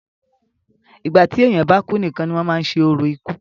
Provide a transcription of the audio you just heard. ìgbà tí èèyàn bá kú nìkan ni wọ́n máa ń ṣe orò ikú